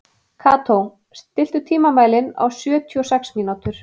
Kató, stilltu tímamælinn á sjötíu og sex mínútur.